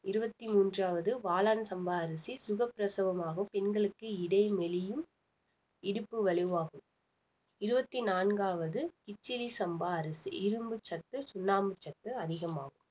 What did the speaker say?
இருவத்தி மூண்றாவது வாளான் சம்பா அரிசி சுகப்பிரசவமாகும் பெண்களுக்கு இடைமெலியும் இடுப்பு வலுவாகும் இருவத்தி நான்காவது கிச்சிலி சம்பா அரிசி இரும்பு சத்து சுண்ணாம்பு சத்து அதிகமாகும்